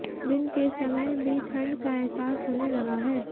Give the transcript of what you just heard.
दिन के समय भी ठंड का एहसास होने लगा है